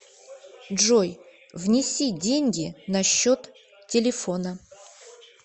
джой внеси деньги на счет телефона